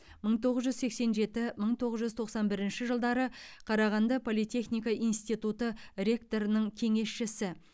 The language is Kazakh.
мың тоғыз жүз сексен жеті мың тоғыз жүз тоқсан бірінші жылдары қарағанды политехника институты ректорының кеңесшісі